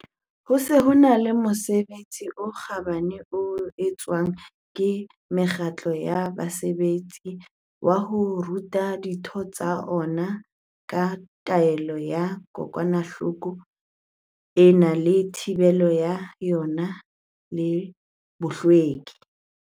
Ho se ho e na le mosebetsi o kgabane o entsweng ke mekgatlo ya basebetsi, wa ho ruta ditho tsa yona ka taolo ya kokwanahloko ena le thibelo ya yona le bohlweki.